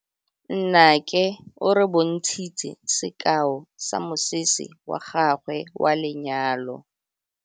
Nnake o re bontshitse sekaô sa mosese wa gagwe wa lenyalo.